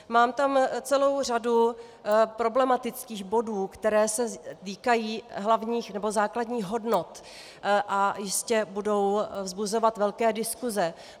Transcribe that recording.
Mám tam celou řadu problematických bodů, které se týkají hlavních nebo základních hodnot a jistě budou vzbuzovat velké diskuse.